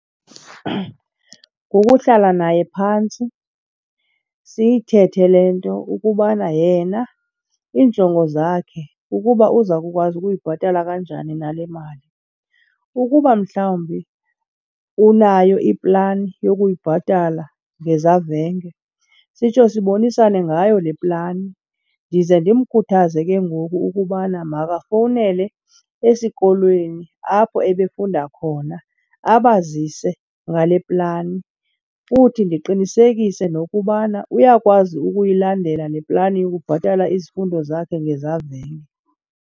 Kukuhlala naye phantsi siyithethe le nto ukubana yena iinjongo zakhe, ukuba uza kukwazi ukuyibhatala kanjani na le mali. Ukuba mhlawumbi unayo iplani yokuyibhatala ngezavenge sitsho sibonisane ngayo le plani. Ndize ndimkhuthaze ke ngoku ukubana makafowunele esikolweni apho ebefunda khona abazise ngale plani, futhi ndiqinisekise nokubana uyakwazi ukuyilandela le plani yokubhatala izifundo zakhe ngezavenge.